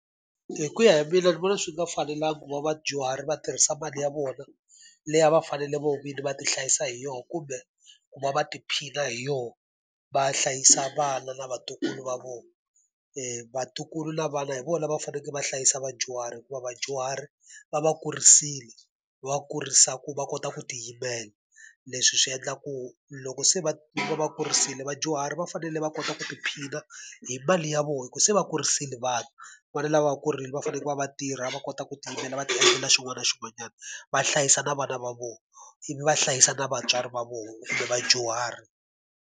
Hi ku ya hi mina ni vona swi nga fanelanga ku va vadyuhari va tirhisa mali ya vona leyi a va fanele vona vinyi va ti hlayisa hi yona kumbe ku va va tiphina hi yona, va hlayisa vana na vatukulu va vona. Vatukulu na vana hi vona va fanekele va hlayisa vadyuhari hikuva vadyuhari, va va kurisile va kurisa ku va kota ku tiyimela. Leswi swi endla ku loko se va va va kurisile vadyuhari va fanele va kota ku tiphina hi mali ya vona hi ku se va kurisile vana. Vana lava va ku ri va fanekele va va va tirha, va kota ku tiyimela, va ti endlela xin'wana na xin'wanyana, va hlayisa na vana va vona, ivi va hlayisa na vatswari va vona kumbe vadyuhari.